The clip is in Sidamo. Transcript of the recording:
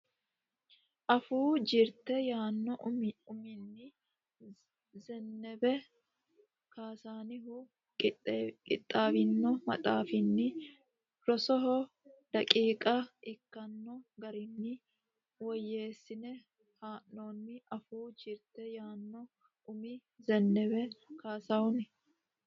Afuu Jirte yaanno uminni Zennebe Cassihunni qixxaawino maxaafinni rosoho daqiiqa ikkanno garinni woyyeessine haa noonnite Afuu Jirte yaanno uminni Zennebe Cassihunni.